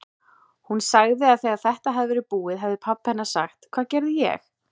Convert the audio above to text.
Hún sagði að þegar þetta hefði verið búið hefði pabbi hennar sagt: Hvað gerði ég?